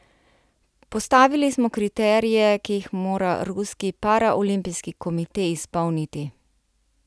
Postavili smo kriterije, ki jih mora ruski paraolimpijski komite izpolniti.